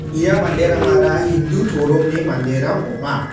ia manderangara hindu toromni manderang ong·a.